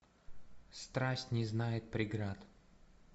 страсть не знает преград